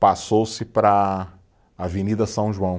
passou-se para a Avenida São João.